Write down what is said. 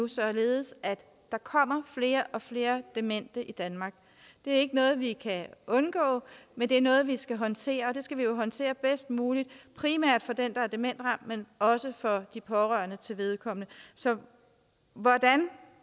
således at der kommer flere og flere demente i danmark det er ikke noget vi kan undgå men det er noget vi skal håndtere og det skal vi jo håndtere bedst muligt primært for den der er demensramt men også for de pårørende til vedkommende så hvordan